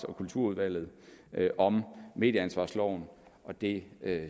og kulturudvalget om medieansvarsloven og det er